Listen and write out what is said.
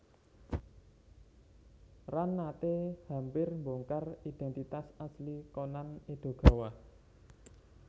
Ran nate hampir mbongkar identitas asli Conan Edogawa